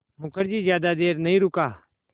मुखर्जी ज़्यादा देर नहीं रुका